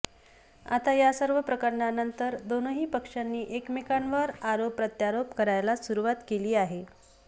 आता या सर्व प्रकरणानंतर दोनही पक्षांनी एकमेकांवर आरोप प्रत्यारोप करायला सुरुवात केली आहे